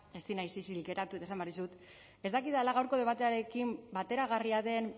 ezin naiz isilik geratu eta esan behar dizut ez dakidala gaurko debatearekin bateragarria den